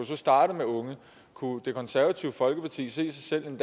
så starte med unge kunne det konservative folkeparti se sig selv i en